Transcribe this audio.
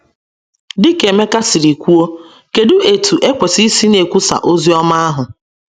Dị ka Emeka si kwuo, Kedụ etu ekwesịrị isi na - ekwusa ozi ọma ahụ?